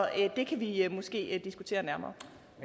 det kan vi måske diskutere nærmere